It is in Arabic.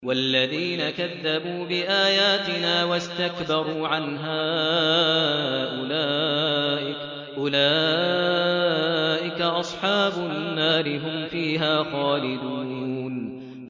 وَالَّذِينَ كَذَّبُوا بِآيَاتِنَا وَاسْتَكْبَرُوا عَنْهَا أُولَٰئِكَ أَصْحَابُ النَّارِ ۖ هُمْ فِيهَا خَالِدُونَ